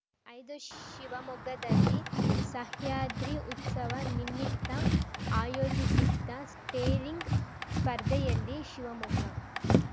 ಐದು ಶಿವಮೊಗ್ಗದಲ್ಲಿ ಸಹ್ಯಾದ್ರಿ ಉತ್ಸವ ನಿಮಿತ್ತ ಆಯೋಜಿಸಿದ್ದ ಸ್ಟೇರಿಂಗ್‌ ಸ್ಪರ್ಧೆಯಲ್ಲಿ ಶಿವಮೊಗ್ಗ